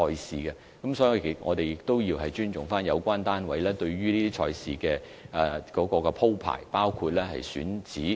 所以，我們要尊重有關單位對賽事的安排，包括選址。